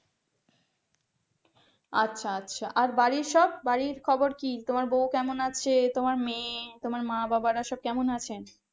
আচ্ছা আচ্ছা আর তোমার বাড়ির সব বাড়ির খবর কি তোমার বউ কেমন আছে তোমার মেয়ে মা-বাবারা সব কেমন আছে?